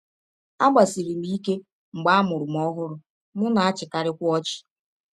Agbasiri m ike mgbe a mụrụ m ọhụrụ, m na - achịkarịkwa ọchị.